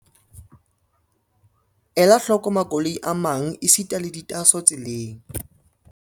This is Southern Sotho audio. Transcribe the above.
Ela hloko makoloi a mang esita le ditaaso tseleng.